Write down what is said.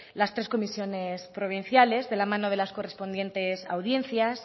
las tres comisiones provinciales de la mano de las correspondientes audiencias